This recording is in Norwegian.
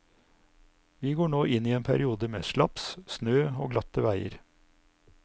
Vi går nå inn i en periode med slaps, snø og glatte veier.